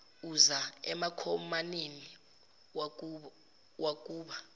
uza emankomaneni kwakuba